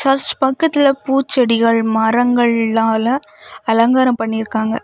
Search பக்கத்துல பூச்செடிகள் மரங்கள்நாள அலங்காரம் பண்ணிருக்காங்க.